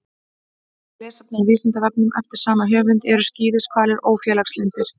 Frekara lesefni á Vísindavefnum eftir sama höfund: Eru skíðishvalir ófélagslyndir?